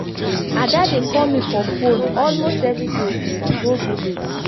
ada dey call me for phone almost every day since i go village